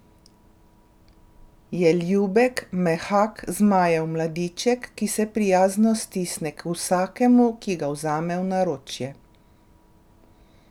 Je ljubek, mehak zmajev mladiček, ki se prijazno stisne k vsakemu, ki ga vzame v naročje.